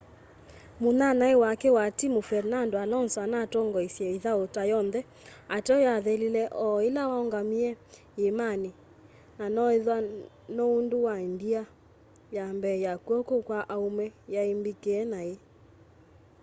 munyanyae wake wa timu fernando alonso anatongoestye ithau ta yonthe ateo yathelile o ila waungamie yiimani na noethwa no undu wa ndia ya mbee ya kw'oko kwa aume yai mbikie nai